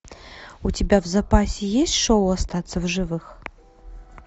у тебя в запасе есть шоу остаться в живых